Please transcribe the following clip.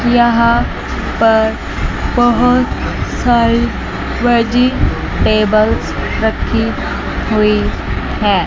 यहा पर बहोत सारे वेजिटेबलस रखी हुई है।